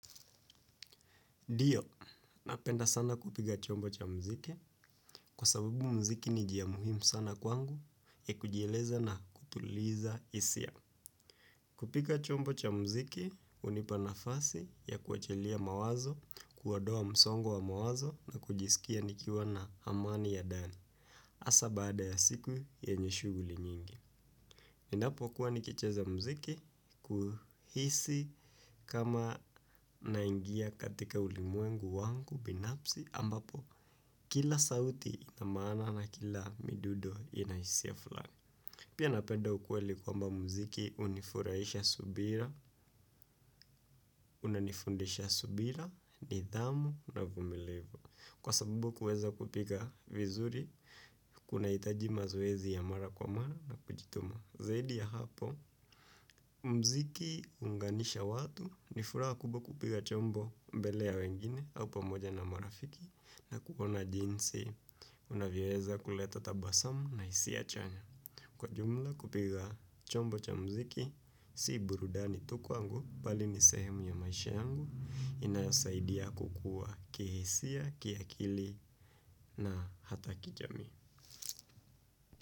Ndio, napenda sana kupiga chombo cha muziki, kwa sababu muziki ni njia muhimu sana kwangu ya kujieleza na kutuliza hisia. Kupiga chombo cha muziki, hunipa nafasi ya kuachilia mawazo, kuondoa msongo wa mawazo na kujisikia nikiwa na amani ya ndani, hasa baada ya siku yanye shughuli nyingi. Ninapo kua nikicheza muziki kuhisi kama naingia katika ulimwengu wangu binafsi ambapo kila sauti na maana na kila midundo ina hisia fulani. Pia napenda ukweli kwamba muziki hunifurahisha subira, unanifundisha subira, nidhamu na uvumilivu. Kwa sabubu kuweza kupiga vizuri, kunahitaji mazoezi ya mara kwa mara na kujituma. Zaidi ya hapo, muziki huunganisha watu, ni furaha kubwa kupiga chombo mbele ya wengine au pamoja na marafiki na kuona jinsi unavyoweza kuleta tabasamu na hisia chanya. Kwa jumla kupiga chombo cha muziki, si burudani tu kwangu, bali ni sehemu ya maisha yangu inayosaidia kukua kihisia, kiakili na hata kijamii.